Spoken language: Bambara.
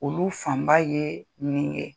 Olu fanba ye nin ye